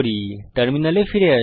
টার্মিনালে ফিরে আসি